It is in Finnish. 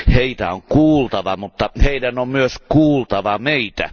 Heitä on kuultava, mutta heidän on myös kuultava meitä.